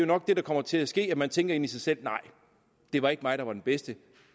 nok det der kommer til at ske tænke inde i sig selv nej det var ikke mig der var den bedste